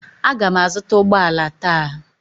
Aga m azụta ụgbọ ala taa.